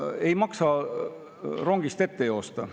Ei maksa rongist ette joosta.